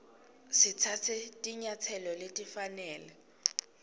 sitsatse tinyatselo letifanele